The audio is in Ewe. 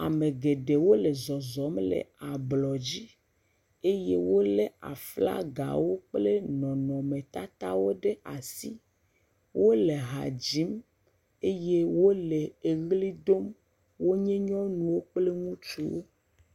Ame geɖewo le zɔzɔm le ablɔ dzi eye wole aflagawo kplɔ nɔnɔtatawo ɖe asi. Wole ha dzim eye wole eʋli dom. Wonye nyɔnuwo kple ŋutsuwo.